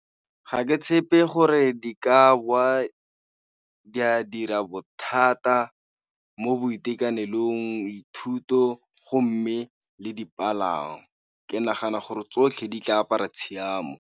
Ga ke tshepe gore di ka bowa di a dira bothata mo boitekanelong, dithuto go mme le dipalangwa. Ke nagana gore tsotlhe di tla apara tshiamo.